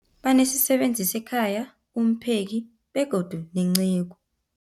Banesisebenzi sekhaya, umpheki, begodu nenceku.